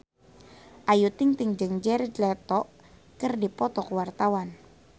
Ayu Ting-ting jeung Jared Leto keur dipoto ku wartawan